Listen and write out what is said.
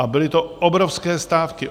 A byly to obrovské stávky.